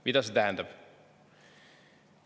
Mida see tähendab?